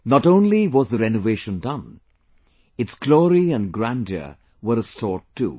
Not only was the renovation done; its glory and grandeur were restored too